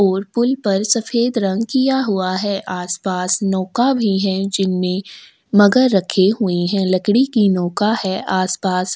और पोल पर सफेद रंग किया हुआ है आस -पास नोका भी है जिनमें मगर रखे हुए है लकड़ी के नोका है आस- पास --